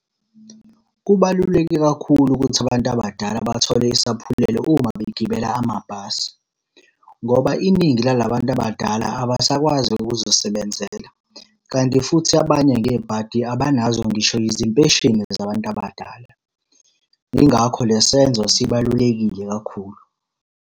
Kubaluleke kakhulu ukuthi abantu abadala bathole isaphulelo uma begibela amabhasi, ngoba iningi lala bantu abadala abasakwazi ukuzisebenzela, kanti futhi abanye ngebhadi abanazo ngisho izimpesheni zabantu abadala. Yingakho le senzo sibalulekile kakhulu.